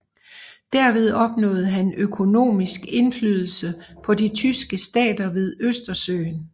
Derved opnåede han økonomisk indflydelse på de tyske stater ved Østersøen